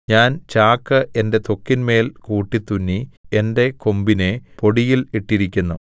ഞാൻ ചാക്ക് എന്റെ ത്വക്കിന്മേൽ കൂട്ടിത്തുന്നി എന്റെ കൊമ്പിനെ പൊടിയിൽ ഇട്ടിരിക്കുന്നു